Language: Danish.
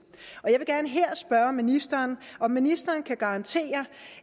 jeg vil gerne her spørge ministeren om ministeren kan garantere